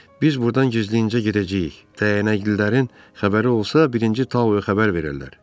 Biz burdan gizlincə gedəcəyik, dəyənəklilərin xəbəri olsa, birinci Tau xəbər verirlər.